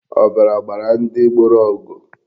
Ọbara gbara ndị gboro ọgụ.